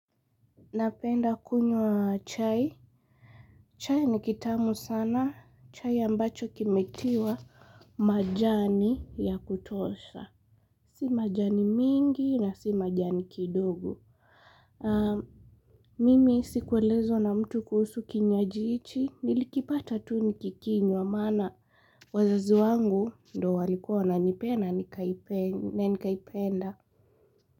Napenda kunywa chai. Chai ni kitamu sana. Chai ambacho kimetiwa majani ya kutosha. Si majani mingi na si majani kidogo. Mimi sikuelezwa na mtu kuhusu kinywaji hichi. Nilikipata tu nikikinywa. Maana wazazi wangu ndo walikua wananipea na nikaipenda.